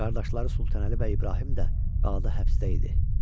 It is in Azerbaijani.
Qardaşları Sultanəli və İbrahim də qalada həbsdə idi.